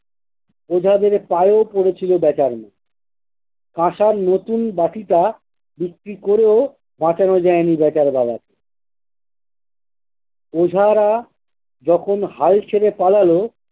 ওঝাদের পায়েও পড়েছিল বেচার মা কাঁসার নতুন বাটিটা বিক্রি করেও বাঁচানো যায় নি বেচার বাবাকে। ওঝারা যখন হাল ছেড়ে পালালো